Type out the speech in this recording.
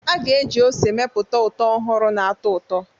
A ga-eji ose mepụta ụtọ ọhụrụ na-atọ ụtọ.